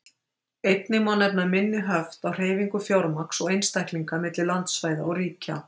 Einnig má nefna minni höft á hreyfingu fjármagns og einstaklinga milli landsvæða og ríkja.